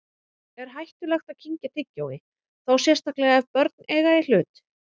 Er hættulegt að kyngja tyggjói, þá sérstaklega ef börn eiga í hlut?